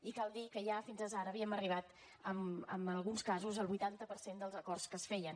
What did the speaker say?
i cal dir que ja fins ara havíem arribat en alguns casos al vuitanta per cent dels acords que es feien